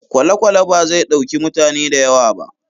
Kwalekwale bazai ɗauki mutane da yawa ba